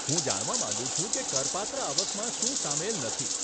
હું જાણવા માંગુ છું કે કરપાત્ર આવકમાં શું સામેલ નથી.